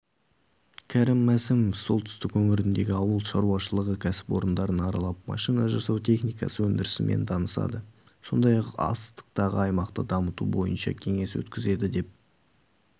кәрім мәсімов солтүстік өңіріндегі ауыл шаруашылығы кәсіпорындарын аралап машина жасау техникасы өндірісімен танысады сондай-ақ астықты аймақта дамыту бойынша кеңес өткізеді деп